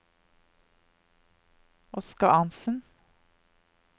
Oskar Arntzen